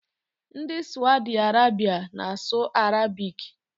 Ndị Sawdi Arabịa na-asụ arabiki.